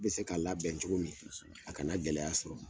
Bɛ se ka labɛn cogo min , a kana gɛlɛya sɔrɔ.